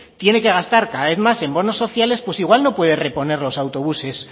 tiene que gastar cada vez más en bonos sociales pues igual no puede reponer los autobuses